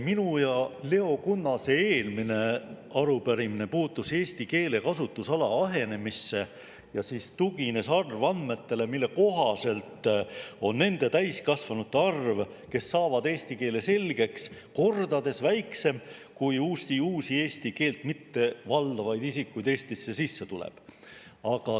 Minu ja Leo Kunnase eelmine arupärimine puudutas eesti keele kasutusala ahenemist ja tugines arvandmetele, mille kohaselt on nende täiskasvanute arv, kes saavad eesti keele selgeks, kordades väiksem kui Eestisse tulevate eesti keelt mittevaldavate isikute arv.